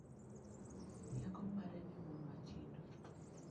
Rieko mare ne mon matindo?